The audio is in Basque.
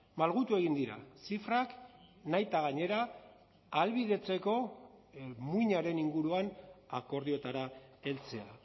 malgutu egin dira zifrak nahita gainera ahalbidetzeko muinaren inguruan akordioetara heltzea